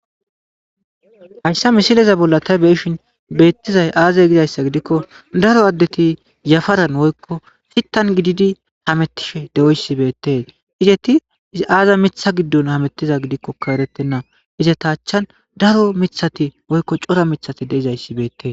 Hayssa misileza bolla ta beeshin beettizay aazey gidayssa gidikko daro addeti yafaran woykko fittan gididi hamettishe de7oyssi beettee izeti aaza mitha giddon hamettiza gidikko ka erettenna izata achan daro mithati woykko cora mithati deizayssi beettee.